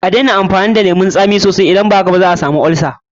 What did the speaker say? A daina amfani da lemun tsami sosai, idan ba haka zaka samu olsa.